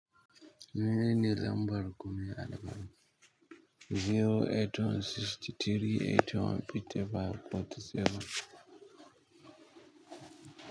Menene lambar ku me albarka? Zero, eight one, sixty-three, eighty one, fifty five, fourty, seven.